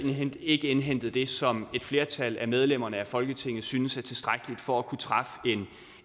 ikke indhentet det som et flertal af medlemmerne af folketingets synes er tilstrækkeligt for at kunne træffe